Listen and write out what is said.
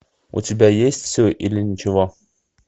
у тебя есть все или ничего